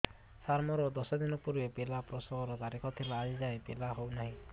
ସାର ମୋର ଦଶ ଦିନ ପୂର୍ବ ପିଲା ପ୍ରସଵ ର ତାରିଖ ଥିଲା ଆଜି ଯାଇଁ ପିଲା ହଉ ନାହିଁ